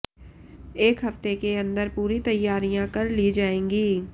एक हफ्ते के अंदर पूरी तैयारियां कर ली जाएंगी